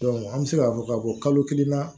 an bɛ se k'a fɔ ka fɔ kalo kelen na